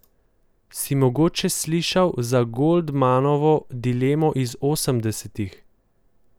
Si mogoče slišal za Goldmanovo dilemo iz osemdesetih?